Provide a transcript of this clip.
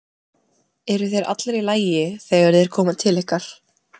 Eru þeir allir í lagi þegar þeir koma til ykkar?